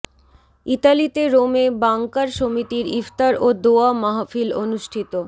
ইতালিতে রোমে বাংকার সমিতির ইফতার ও দোয়া মাহফিল অনুষ্ঠিত